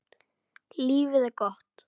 Lífið er gott.